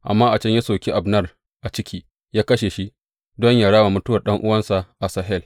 Amma a can ya soki Abner a ciki, ya kashe shi don yă rama mutuwar ɗan’uwansa Asahel.